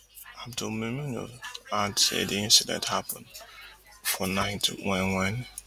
abdulmimunu add say di incident happun for night wen wen